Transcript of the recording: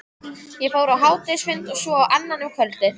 Ég fór á hádegisfund, og svo á annan um kvöldið.